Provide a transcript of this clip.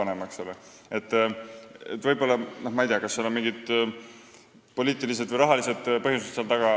Ma ei tea, kas selle taga on mingid poliitilised või rahalised põhjused.